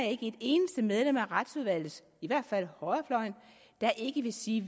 ikke et eneste medlem af retsudvalget i hvert fald på højrefløjen der ikke vil sige